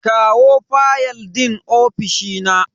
kawo fayal din ofishi na.